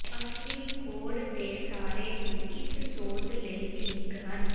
ਅਸਲੀ ਕੋਡ ਦੇ ਸਾਰੇ ਨੂੰ ਇਸ ਸੋਧ ਲਈ ਠੀਕ ਹਨ